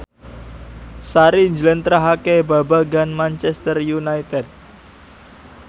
Sari njlentrehake babagan Manchester united